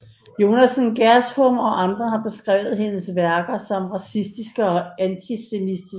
Yonassan Gershom og andre har beskrevet hendes værker som racistiske og antisemitiske